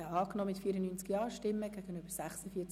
Abstimmung (Art. 23c [neu